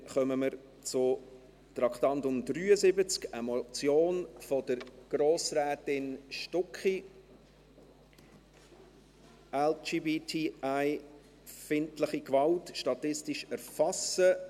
Dann kommen wir zum Traktandum 73, einer Motion von Grossrätin Stucki, «LGBTIfeindliche Gewalt statistisch erfassen».